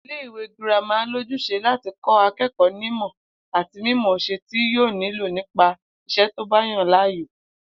Ilé-ìwé girama lójús̩e láti kó̩ aké̩kò̩ó̩ nímò̩ àti mímò̩ó̩s̩e tí yóò nílò nípa is̩é̩ tó bá yàn láàyò